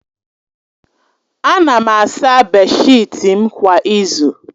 Ana m asa beeshịt m kwa izu